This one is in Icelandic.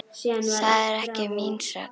Það er ekki mín sök.